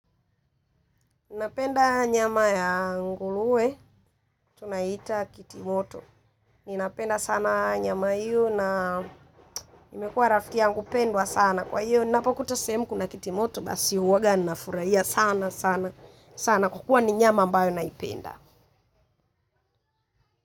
Ninapenda nyama ya nguruwe, tunaita kitimoto. Ninapenda sana nyama hiyo na imekua rafiki yangu pendwa sana. Kwa hiyo, ninapokuta sehemu kuna kitimoto, basi uwaga nafurahia sana, sana, sana. Huwa ni nyama ambayo naipenda.